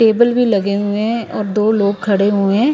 Table भी लगे हुए हैं और दो लोग खड़े हुए हैं ।